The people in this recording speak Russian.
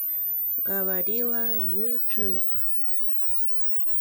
говорила ютуб